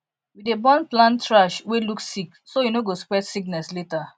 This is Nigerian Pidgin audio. we dey burn plant trash wey look sick so e no go spread sickness later